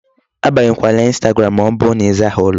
Abanyekwala Instagram ma ọ bụ na ị zaghị ụlọ.